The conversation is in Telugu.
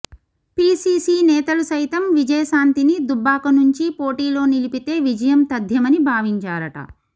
పీసీసీ నేతలు సైతం విజయశాంతిని దుబ్బాక నుంచి పోటీలో నిలిపితే విజయం తథ్యమని భావించారట